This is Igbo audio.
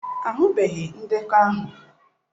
Ahụbeghị ndekọ ahụ.